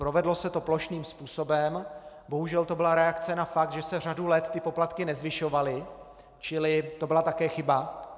Provedlo se to plošným způsobem, bohužel to byla reakce na fakt, že se řadu let ty poplatky nezvyšovaly, čili to byla také chyba.